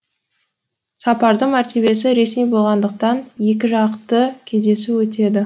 сапардың мәртебесі ресми болғандықтан екіжақты кездесу өтеді